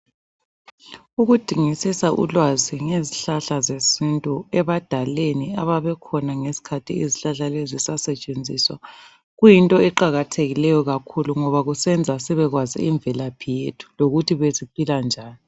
Ukudingisisa ulwazi ngezihlahla zesintu ,ebadaleni ababekhona ngesikhathi izihlahla lezi zisasetshenziswa ,kuyinto eqakathekileyo kakhulu ngoba kusenza sibekwazi imvelaphi yethu ,lokuthi besiphila njani.